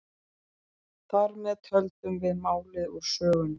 Þar með töldum við málið úr sögunni.